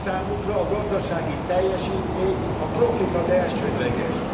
Számukra a gazdasági teljesítmény, a profit az elsődleges.